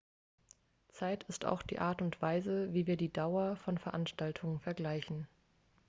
zeit ist auch die art und weise wie wir die dauer länge von veranstaltungen vergleichen